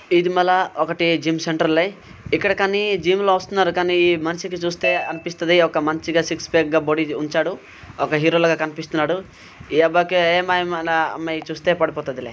ఇది మళ్ళ ఒకటి జిమ్ సెంటర్ లే ఇక్కడ కానీ జిమ్ లో వస్తున్నారు. కానీ మనిషికి చూస్తే అనిపిస్తది మంచిగా సిక్స్ ప్యాక్ గా బాడి ఉంచాడు. ఒక హీరోలాగా కనిపిస్తున్నాడు. ఈ అబ్బాయికి ఏ అమ్మాయి అయినా అమ్మాయి చూస్తే పడిపోతాది లే